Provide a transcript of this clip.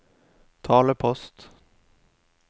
talepost